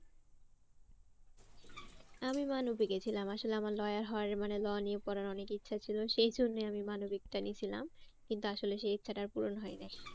আমি মানবিক এ ছিলাম আসলে আমার lawyer হওয়ার মানে law নিয়ে পড়ার অনেক ইচ্ছা ছিল সেইজন্যে আমি মনোবিকটা নিয়েছিলাম। কিন্তু আসলে সেই ইচ্ছাটা আর পূরণ হয় নাই।